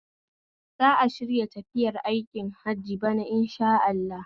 Zan shirya tafiya aikin hajj bana Insha Allah